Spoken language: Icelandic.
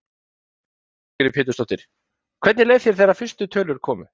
Lillý Valgerður Pétursdóttir: Hvernig leið þér þegar fyrstu tölur komu?